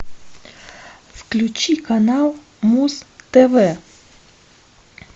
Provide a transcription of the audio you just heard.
включи канал муз тв